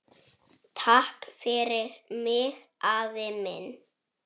Takk fyrir mig, afi minn.